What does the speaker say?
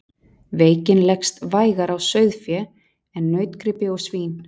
Veikin leggst vægar á sauðfé en nautgripi og svín.